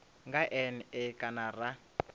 nga n e kana ra